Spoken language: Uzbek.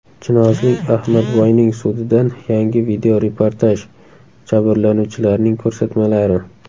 Chinozlik Ahmadboyning sudidan yangi videoreportaj: Jabrlanuvchilarning ko‘rsatmalari.